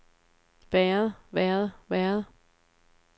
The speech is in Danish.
været været været